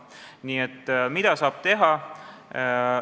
Nii et mida saab teha?